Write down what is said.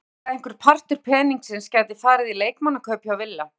Hann segir að einhver partur peningsins gæti farið í leikmannakaup hjá Villa.